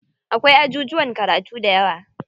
Akwai ajujuwan karatu dayawa.